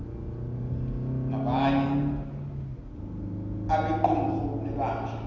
nabanye abequmrhu lebandla